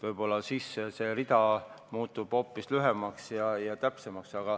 Võib-olla siis muutub see rida hoopis lühemaks ja täpsemaks.